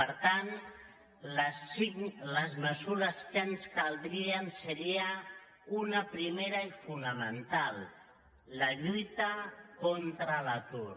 per tant les mesures que ens caldrien serien una primera i fonamental la lluita contra l’atur